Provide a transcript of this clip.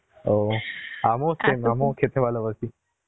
ও আমিও same আমিও খেতে ভালো বাসী